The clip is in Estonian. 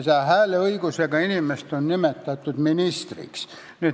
Säärast hääleõigusega inimest on nimetatud ministriks.